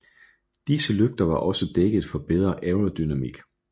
Disse lygter var også dækket for bedre aerodynamik